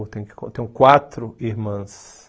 Eu tenho eu tenho quatro irmãs.